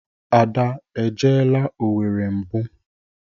Ada e jeela Owere mbụ?